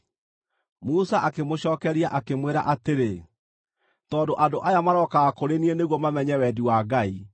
Musa akĩmũcookeria, akĩmwĩra atĩrĩ, “Tondũ andũ aya marokaga kũrĩ niĩ nĩguo mamenye wendi wa Ngai.